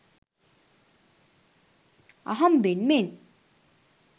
අහම්බෙන් මෙන්